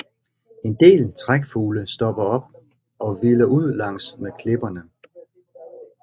En del trækfugle stopper op og hviler ud langs med klipperne